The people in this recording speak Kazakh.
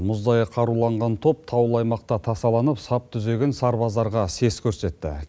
мұздай қаруланған топ таулы аймақта тасаланып сап түзеген сарбаздарға сес көрсетті